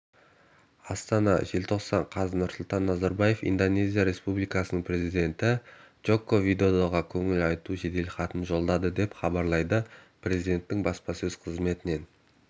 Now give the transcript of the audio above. астана желтоқсан қаз нұрсұлтан назарбаев индонезия республикасының президенті джоко видодоға көңіл айту жеделхатын жолдады деп хабарлады президентінің баспасөз қызметінен